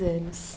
anos.